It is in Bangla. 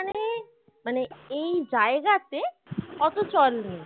মানে এই জায়গাতে অতো চল নেই